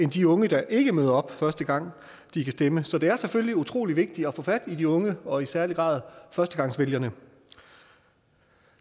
de unge der ikke møder op første gang de kan stemme så det er selvfølgelig utrolig vigtigt at få fat i de unge og i særlig grad førstegangsvælgerne